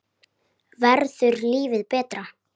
Verður lífið betra?